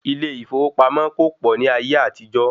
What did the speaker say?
Ilé ìfowópamọ́ kò pọ̀ ní ayé àtijó.